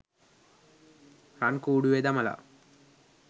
රන් කුඩුවෙ දමලා